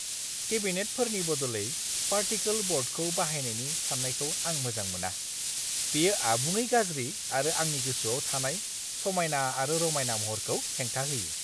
केबिनेटफोरनि बदलै पार्टिकल ब'र्डखौ बाहायनायनि साननायखौ आं मोजां मोना। बेयो आबुङै गाज्रि आरो आंनि गोसोआव थानाय समायना आरो रमायना महरखौ हेंथा होयो!